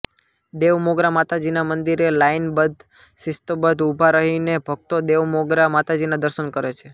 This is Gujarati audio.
દેવમોગરા માતાજીના મંદિરે લાઈનબધ્ધ શિસ્તબધ્ધ ઉભા રહીને ભકતો દેવમોગરા માતાજીના દર્શન કરે છે